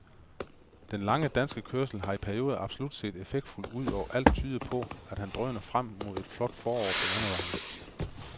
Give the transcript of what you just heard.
Den lange danskers kørsel har i perioder absolut set effektfuld ud, og alt tyder på, at han drøner frem mod et flot forår på landevejen.